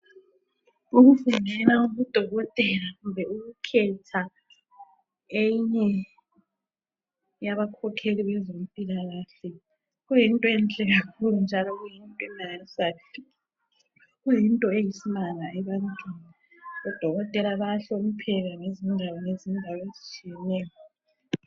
Ukufundela ubudokotela kumbe ukukhetha enye yabakhokheli bezempilakahle kuyinto enhle kakhulu njalo kuyinto emangalisayo kuyinto eyisimanga ebantwini. Odokotela bayahlonipheka ngezindawo ngezindawo ezitshiyeneyo.